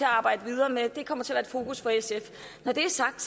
arbejde videre med det kommer til at være i fokus for sf når det er sagt